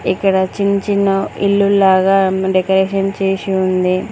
ఇక్కడ చిన్న చిన్న ఇల్లుల్లాగా డెకరేషన్ చేసి ఉంది.